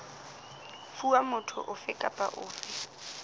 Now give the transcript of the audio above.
fuwa motho ofe kapa ofe